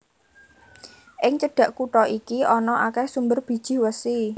Ing cedhak kutha iki ana akèh sumber bijih wesi